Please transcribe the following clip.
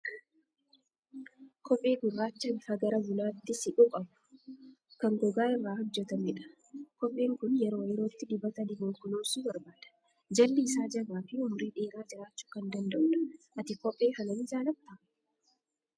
Kophee gurraacha bifa gara bunaatti siqu qabu, kan gogaa irraa hojjetamu dha. Kopheen kun yeroo yerootti dibata dibuun kunuunsuu barbaada. Jalli isaa jabaa fi umurii dheeraa jiraachuu kan danda'udha. Ati kophee kana ni jaallattaa?